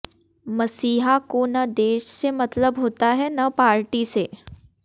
मसीहा को न देश से मतलब होता है न पार्टी से